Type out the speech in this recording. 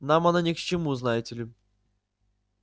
нам она ни к чему знаете ли